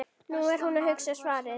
Nú er hún að hugsa svarið.